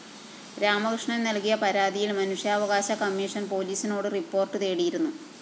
രാമകൃഷ്ണന്‍ നല്‍കിയ പരാതിയില്‍ മനുഷ്യാവകാശ കമ്മീഷൻ പോലീസിനോട് റിപ്പോർട്ട്‌ തേടിയിരുന്നു